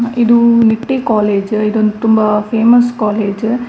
ಇದು ನಿಟ್ಟೆ ಕಾಲೇಜ್ ಇದೊಂದು ತುಂಬಾ ಫೇಮಸ್ ಕಾಲೇಜ್ .